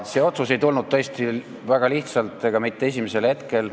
See otsus ei tulnud tõesti väga lihtsalt ega mitte esimesel hetkel.